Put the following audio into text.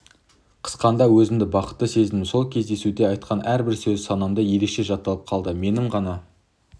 қысқанда өзімді бақытты сезіндім сол кездесуде айтқан әрбір сөзі санамда ерекше жатталып қалды менің ғана